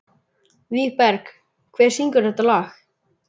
Vígberg, hver syngur þetta lag?